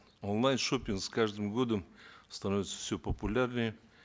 онлайн шопинг с каждым годом становится все популярнее